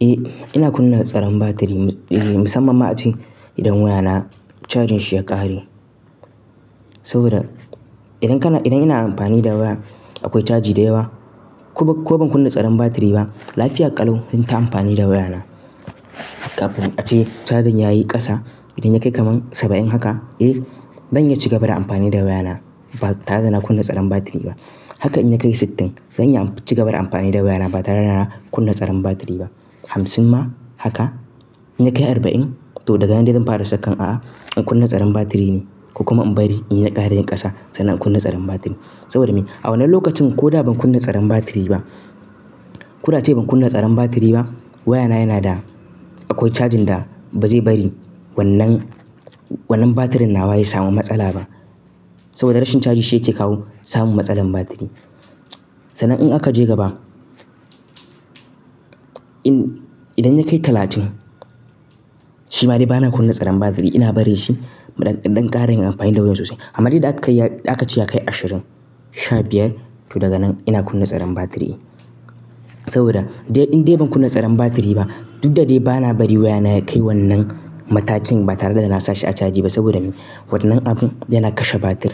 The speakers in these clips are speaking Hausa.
Eh ina kunna tsaron batiri, eeh musamman ma a ce idan wayana cajin shi ya kare. Saboda idan kana, idan yana amfani da waya akwai caji da yawa ko, ko ban kunna tsaron batiri ba lafiya ƙalau zanta amfani da wayana. Kafin a ce cajin yayi ƙasa idan ya kai kamar saba'in haka eh, zan iya ci ga ba da amfani da wayana ba tare da na kunna tsaron batiri ba. Haka in ya kai sittin zan iya ci gaba da amfani da wayana ba tare da na kunna tsaron batiri ba. Hamsin ma haka, in yakai arba'in to daga nan zan fara shakkan ah'ah in kunna tsaron batiri ne ko kuma in bari in ya ƙara yin ƙasa sannan in kunna tsaron batiri saboda me? A wannan lokacin ko da ban kunna tsaron batiri ba, ko da ace ban kunna tsaron batiri ba wayana yana da akwai cajin da bazai bari wannan, wannan batirin nawa ya samu matsala ba. Saboda rashin caji shi yake kawo samun matsalar batiri. Sannan in aka je gaba, in idan ya kai talatin shi ma dai bana kunna tsaron batiri ina barin shi in ɗan ƙara yin amfani da wayan sosai. Amma dai da aka ce ya kai ashirin, sha biyar to daga nan ina kunna tsaron batiri. Saboda idan dai ban kunna tsaron batiri ba duk da dai bana bari wayana ya kai wannan matakin ba tare da na sa shi a caji ba saboda me? Wannan abun yana kashe batir.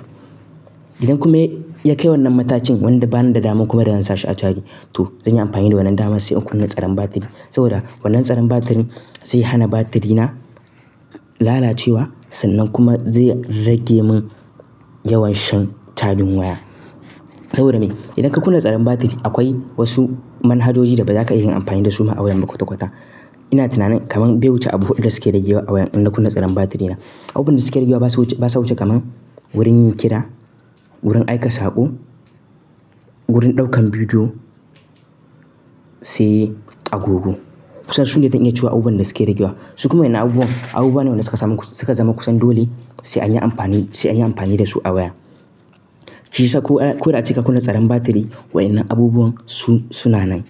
Idan kuma ya kai wannan matakin wanda bani da damar kuma da zan sa shi a caji to zanyi amfani da wannan daman sai in kunna tsaron batiri. Saboda wannan tsaron batirin zai hana batirina lalacewa sannan kuma zai rage mun yawan shan cajin waya. Saboda me? Idan ka kunna tsaron batiri akwai wasu manhajoji da baza ka iya yin amfani dasu ba a wayan ba kwata-kwata. Ina tunanin kaman bai wuce abu huɗu da suke ragewa in na kunna tsaran batiri na abubuwan da suke ragewa basa wuce kaman wurin yin kira, wurin aika saƙo, wurin ɗaukan bidiyo sai agogo. Kusan sune zan iya cewa abubuwan da suke ragewa. Su kuma waƴannan abubuwan, abubuwane suka samu, suka zama kusan dole sai anyi amfani, da su sai anyi amfani dasu a waya. Shi yasa ko, ko da ace ka kunna tsaron batiri wa'innan abubuwan su, suna nan,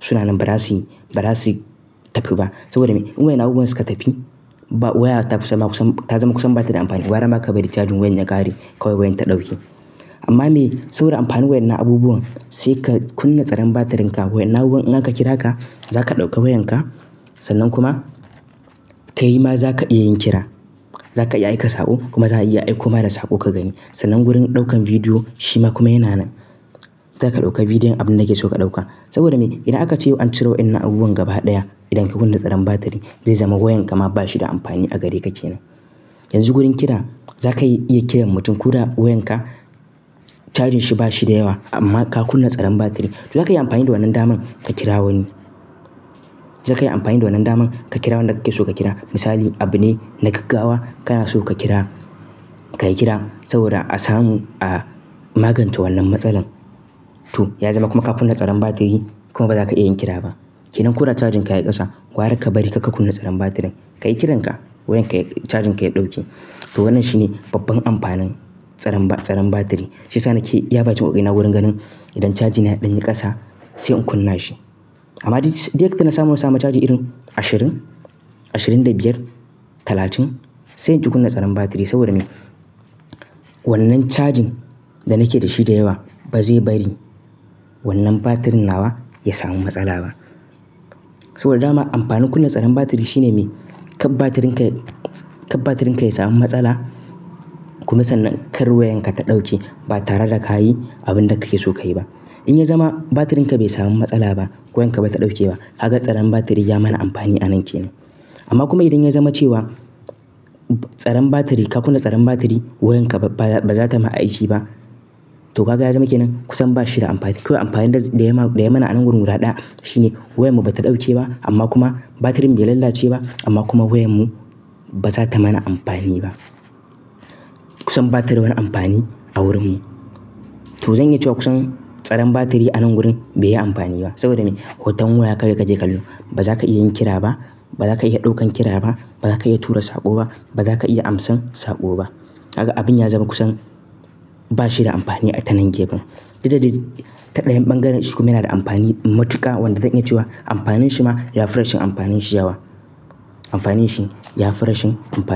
suna nan ba za su, ba za su tafi ba. Saboda me? In waƴan nan abubuwan suka tafi ba waya ta kusa ma kusa, ta zama kusan bata da amfani. Gwara maka bari cajin wayan ya ƙare kawai wayan ta ɗauke. Amma me? Saboda amfanin wa'innan abubuwan sai ka kunna tsaron batirin ka wa'innan abubuwan in aka kira ka zaka ɗauki wayanka sannan kuma kai ma zaka iya yin kira. Zaka iya aika saƙo kuma za a iya aiko ma da saƙo ka gani. Sannan wurin ɗaukan bidiyo shi ma kuma yana nan. Zaka ɗauka bidiyon abun da kake so ka ɗauka. Saboda me, idan aka yau an cire waƴannan abubuwan gaba ɗaya idan ka kunna tsaron batiri zai zama wayanka ma bashi da amfani a gareka kenan, yanzu wajen kira zaka iya kiran mutum koda wayanka cajin shi bashi da yawa amma ka kunna tsaron batiri to zaka iya amfani da wannan daman ka kira wani. Zaka yi amfani da wannan daman ka kira wanda kake so ka kira. Misali abune na gaggawa kana so ka kira, ka yi kira saboda a samu, a magance wannan matsalar. To ya zama kuma ka kunna tsaron batiri kuma baza ka iya yin kira ba. Kenan ko da cajin ka yayi ƙasa gwara ka bari kar ka kunna tsaron batirin. Ka yi kiran ka wayan ka cajin ka ya ɗauke. To wannan shine babban amfanin tsaron ba, tsaron batiri. Shi yasa nake iya bakin ƙoƙarina wurin ganin idan cajina ya ɗanyi ƙasa sai in kunna shi. Amma dai, dai duk da na samu na samu caji irin ashirin, ashirin da biyar, talatin sai in ƙi kunna tsaron batiri saboda me? Wannan chajin da nake dashi da yawa bazai bari wannan batirin nawa ya samu matsala ba saboda dama amfanin kunna tsaron batiri shine me? Kar batirin ka ya, kar batirin ka ya samu matsala kuma sannan kar wayan ka ta ɗauke ba tare da ka yi abun da kake so ka yi ba. In ya zama batirin ka bai samu matsala ba ko wayan ka bata ɗauke ba kaga tsaron batiri ya mana amfani a nan kenan. Amma kuma idan ya zama cewa ka kunna tsaron batiri wayanka baza ta ma aiki ba to kaga ya zama kenan kusan bashi da amfani ko amfanin da ya ma, da ya mana a nan guda ɗaya shine wayan mu bata ɗauke ba amma kuma batirin bai lalace ba amma kuma wayan mu baza ta mana amfani ba. Kusan ba tada wani amfani a wurin mu. To zan iya cewa kusan tsaron batiri a nan gurin bai yi amfani ba saboda me? Hoton waya kawai kake kallo. Baza ka iya yin kira ba, baza ka iya ɗaukan kira ba, baza ka iya tura saƙo ba, baza ka iya amsan saƙo ba. Kaga abun ya zama kusan ba shi da amfani a tanan gefen. Duk da dai ta ɗayan ɓangaren shi kuma yana da amfani matuƙa wanda zan iya cewa amfanin shi ma ya fi rashin amfanin shi yawa. Amfanin shi ya fi rashin amfanin.